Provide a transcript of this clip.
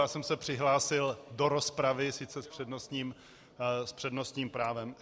Já jsem se přihlásil do rozpravy sice s přednostním právem.